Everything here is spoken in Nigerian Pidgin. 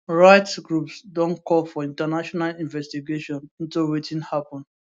rights groups don call for international investigation into wetin happun